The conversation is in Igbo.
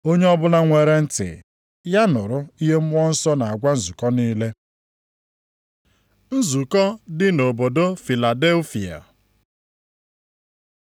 Onye ọbụla nwere ntị, ya nụrụ ihe Mmụọ nsọ na-agwa nzukọ niile. Nzukọ dị nʼobodo Filadelfia